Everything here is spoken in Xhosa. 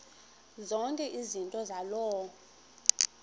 zonke izinto zaloo